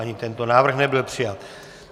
Ani tento návrh nebyl přijat.